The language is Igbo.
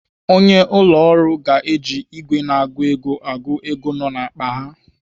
Onye ụlọ ọrụ ga-eji ìgwè na-agụ ego agụ ego nọ n'akpa a.